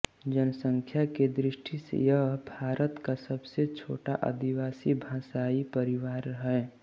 जनसंख्या की दृष्टि से यह भारत का सबसे छोटा आदिवासी भाषाई परिवार है